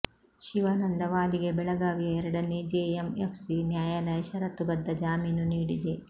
ಶಿವಾನಂದ ವಾಲಿಗೆ ಬೆಳಗಾವಿಯ ಎರಡನೇ ಜೆಎಂಎಫ್ ಸಿ ನ್ಯಾಯಾಲಯ ಷರತ್ತು ಬದ್ಧ ಜಾಮೀನು ನೀಡಿದೆ